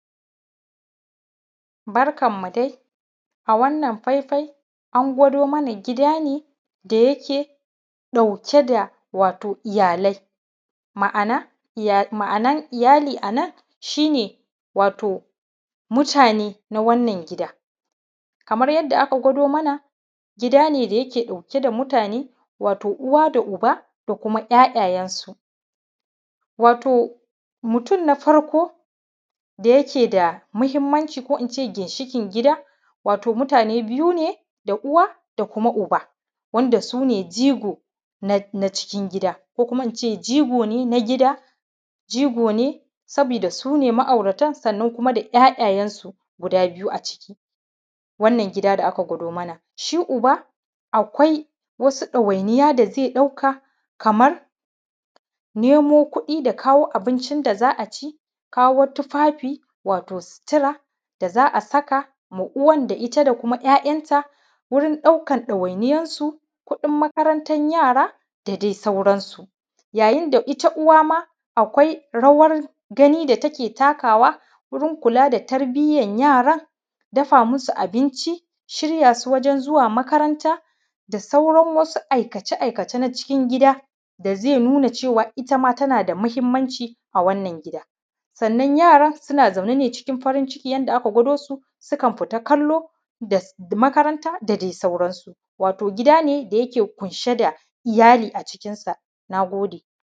Barkan ku dai a wannan faifai an gwado mana gida ne da ya ke ɗauke da watau iyalai ma`ana iyalai ma`anan iyalai a nan shi ne watau mutane na wannan gida kamar yadda aka gwado mana gida ne da yake ɗauke da mutane watau uwa da uba da kuma `ya`yayensu watau mutum na farko da yake da mahimmanci ko ince ginshiƙin gida watau mutane biyu ne da uwa da kuma uba wanda sune jigo na cikin gida ko kuma ince jigo ne na gida jigo ne sabida sune ma`auratan sannan kuma da `ya`yayensu guda biyu a ciki wannan gida da ake gwado mana, shi uba akwai wasu ɗawainiya da zai ɗauka kamar nemo kuɗi da kawo abincin da za`a ci kawo tufafi watau situra da za`a saka da uwan da kuma `ya`yanta wurin ɗaukan ɗawainiya su kuɗin makarantan yara da dai sauransu, yayin da ita uwa ma akwai rawar gani da take takawa wurin kula da tarbiyan yaran dafa masu abinci shirya su wajen zuwa makaranta da sauran wasu aikace aikace na cikin gida da zai nuna itama tana na da mahimmanci a wannan gida sannan yaran suna zaune ne cikin farin ciki yadda aka gwado su suna kallo makaranta da dai sauransu, watau gida ne da yake ƙumshe da iyali a cikin sa, na gode.